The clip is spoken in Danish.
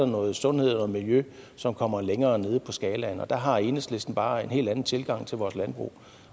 noget sundhed og miljø som kommer længere nede på skalaen der har enhedslisten bare en helt anden tilgang til vores landbrug